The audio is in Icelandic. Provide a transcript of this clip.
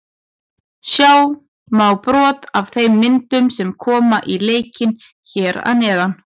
Sjá má brot af þeim myndum sem koma í leikinn hér að neðan.